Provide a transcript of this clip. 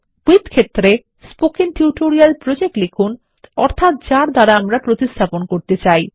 with ক্ষেত্রে spoken tutorial project লিখুন অর্থাত যার দ্বারা প্রতিস্থাপন করতে চাই